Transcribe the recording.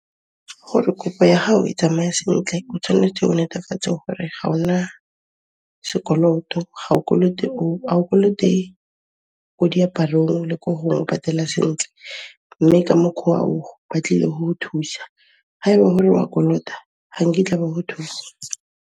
Gore kopo ya hao e tsamaye sentle, o tshwanetse o netefatse gore ga ona sekoloto, ga o kolote ko diaparong le ko gong' o patela sentle, mme ka mokhwa o, ba tlile go ho thusa. Ha e be hore wa kolota, ga nkitla ba ho thusa.